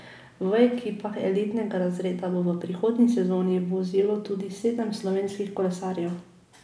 V ekipah elitnega razreda bo v prihodnji sezoni vozilo tudi sedem slovenskih kolesarjev.